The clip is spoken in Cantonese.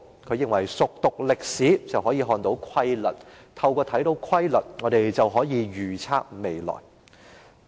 "他認為熟讀歷史，便可以看出規律；看出規律，便可以預測未來。